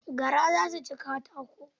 Gara za su ci katakon.